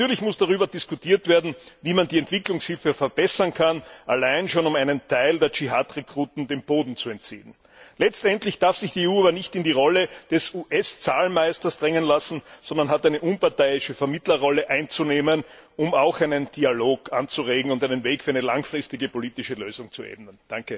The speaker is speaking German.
Und natürlich muss darüber diskutiert werden, wie man die Entwicklungshilfe verbessern kann, allein schon um einem Teil der Dschihad Rekruten den Boden zu entziehen. Letztendlich darf sich die EU aber nicht in die Rolle des US Zahlmeisters drängen lassen, sondern sie hat eine unparteiische Vermittlerrolle einzunehmen, um einen Dialog anzuregen und den Weg für eine langfristige politische Lösung zu ebnen.